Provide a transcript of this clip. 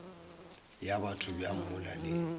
ya batho bjang mola le